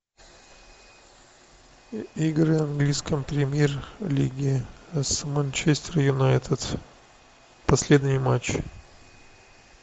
игры английской премьер лиги с манчестер юнайтед последний матч